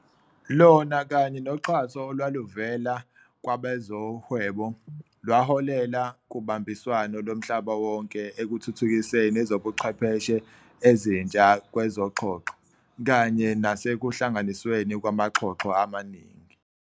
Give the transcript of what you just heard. Lona kanye noxhaso olwaluvela kwabezoHwebo, lwaholela kubambiswano lomhlaba wonke ekuthuthukiseni ezobuchwepheshe ezintsha kwezoxhoxho, kanye nasekuhlanganisweni kwamaxhoxho amaningi.